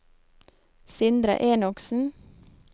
Sindre Enoksen